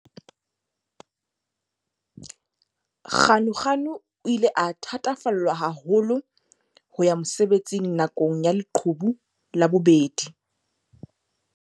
Ganuganu o ile a thatafallwa haholo ho ya mosebetsing na kong ya leqhubu la bobedi.